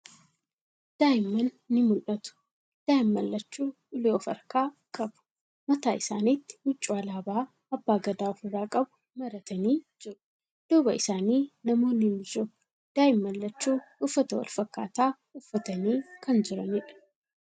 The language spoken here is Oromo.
Daa'imman ni mul'atu. Daa'imman lachuu ulee of harkaa qabu. Mataa isaanitti huccuu alaabaa abbaa gadaa ofirraa qabu maratanii jiru. Duuba isaanii namoonni ni jiru. Daa'imman lachuu uffata walfakkaataa uffatanii kan jiraniidha.